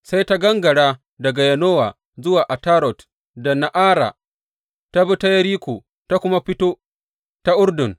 Sai ta gangara daga Yanowa zuwa Atarot da Na’ara, ta bi ta Yeriko, ta kuma fito ta Urdun.